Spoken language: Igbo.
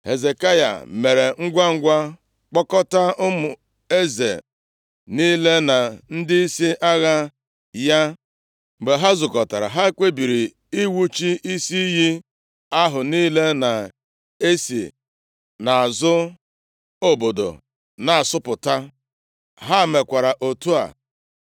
Hezekaya mere ngwangwa kpọkọta ụmụ eze niile na ndịisi agha ya. Mgbe ha zukọtara, ha kpebiri iwuchi isi iyi ahụ niile na-esi nʼazụ obodo na-asọpụta. Ha mekwara otu a.